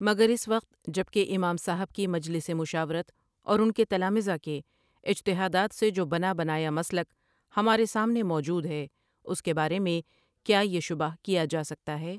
مگراس وقت جب کہ امام صاحب کی مجلس مشاورت اور ان کے تلامذہ کے اجتہادات سے جوبنابنایا مسلک ہمارے سامنے موجود ہے اس کے بارے میں کیا یہ شبہ کیا جاسکتا ہے ۔